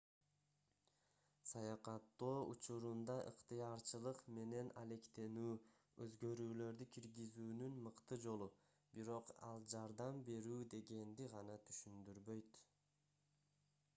саякаттоо учурунда ыктыярчылык менен алектенүү өзгөрүүлөрдү киргизүүнүн мыкты жолу бирок ал жардам берүү дегенди гана түшүндүрбөйт